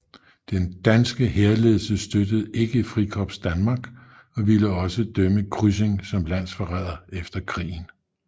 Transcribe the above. Den danske hærledelse støttede ikke Frikorps Danmark og ville også dømme Kryssing som landsforræder efter krigen